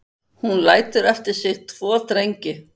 Hún lætur eftir sig tvo drengi